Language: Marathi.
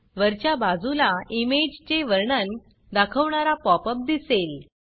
वरच्या बाजूला इमेजचे वर्णन दाखवणारा pop अप दिसेल